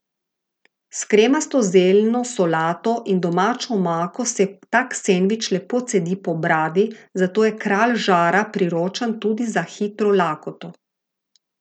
S kremasto zeljno solato in domačo omako se tak sendvič lepo cedi po bradi, zato je Kralj žara priročen tudi za hitro lakoto.